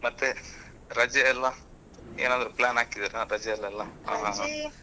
ಮತ್ತೆ ರಜೆ ಎಲ್ಲಾ ಏನಾದ್ರೂ plan ಹಾಕಿದ್ದೀರಾ ರಜೆಯಲ್ಲೆಲ್ಲಾ? ಹಾ ಹಾ ಹಾ. ರಜೆ.